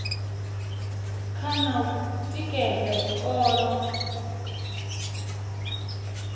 kha na u tikedza zwikolo